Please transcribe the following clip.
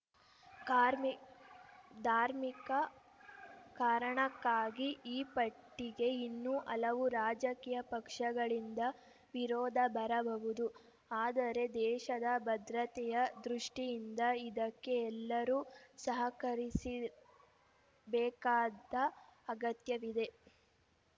ಕಾರ್ಮಿ ಧಾರ್ಮಿಕ ಕಾರಣಕ್ಕಾಗಿ ಈ ಪಟ್ಟಿಗೆ ಇನ್ನೂ ಹಲವು ರಾಜಕೀಯ ಪಕ್ಷಗಳಿಂದ ವಿರೋಧ ಬರಬಹುದು ಆದರೆ ದೇಶದ ಭದ್ರತೆಯ ದೃಷ್ಟಿಯಿಂದ ಇದಕ್ಕೆ ಎಲ್ಲರೂ ಸಹಕರಿಸಿ ಬೇಕಾದ ಅಗತ್ಯವಿದೆ